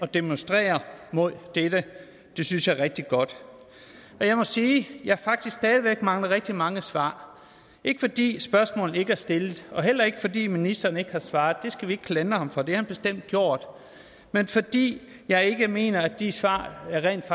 demonstrere mod dette det synes jeg er rigtig godt jeg må sige at jeg faktisk stadig væk mangler rigtig mange svar ikke fordi spørgsmålene ikke er stillet heller ikke fordi ministeren ikke har svaret det skal vi ikke klandre ham for det har han bestemt gjort men fordi jeg ikke mener at de svar rent